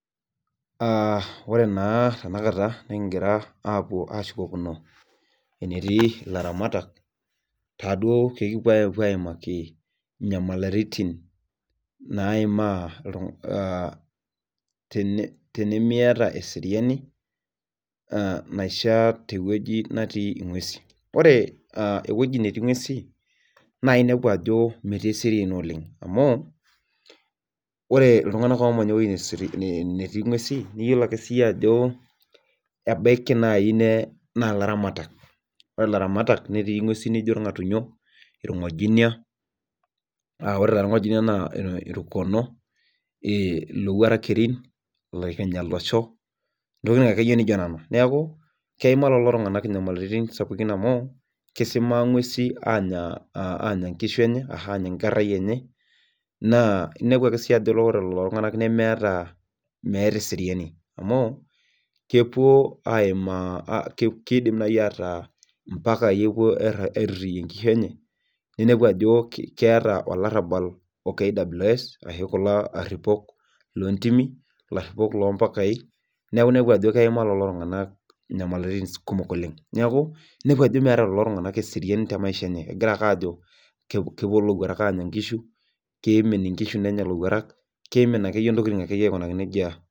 Aa ore naa tenakata nikigira aapuo aashukokino enetii ilaramatak taaduo pee ekipuo aaimaki inyamalitin, naimaa tenimiata eseriani naishaa te wueji netii nguesin. ore ewueji netii nguesi naa inepu ajo metii eseriani oleng. amu, ore iltunganak oomanya ewueji netii nguesi iyiolo ake siiyie ajo, ebaiki naaji naa ilaramatak, netii nguesi naijo ilngatunyo. ilmgojinia, aa ore taa ilo naa irkono. ilowuarak kerin. ilkinyia lasho. ntokitin akeyie naijo nena. neekj keimaa lelo tunganak inyamalitin sapukin amu kisimaa nguesi aanya nkerai enye naa inepu ake ajo ore lelo tunganak meeta eseriani. kidim naaji ataa impakai epuo airitayue nkishu enye. ninepu Ako keeta olarabal o Kwa. ashu kulo aripok loo ntimi .loo mpakai. neeku I epu ajo meeta lelo tunganak eseriani te maisha enye. kimin nkishu nenya lowuatak aikunaki nejia.